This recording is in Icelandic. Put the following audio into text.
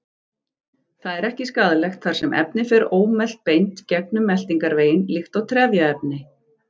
Það er ekki skaðlegt þar sem efnið fer ómelt beint gegnum meltingarveginn líkt og trefjaefni.